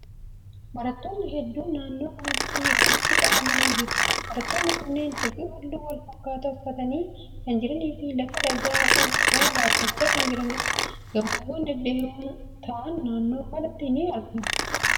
Barattoonni hedduun naannoo kanatti walitti qabamanii jiru. Barattoonni kunneen huccuu haalluu wal fakkaataa uffatanii kan jiranii fi lafa dhagaa qabu irra dhaabbachaa kan jiraniidha. Gamoowwan dhedheeroo ta'an naannoo kana ni jiru.